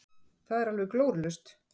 Það er alveg glórulaust.